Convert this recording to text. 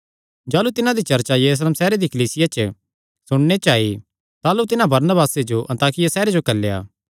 जाह़लू तिन्हां दी चर्चा यरूशलेम सैहरे दी कलीसिया च सुणने च आई ताह़लू तिन्हां बरनबासे जो अन्ताकिया सैहरे जो घल्लेया